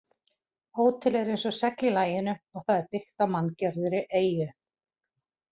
Hótelið er eins og segl í laginu og það er byggt á manngerðri eyju.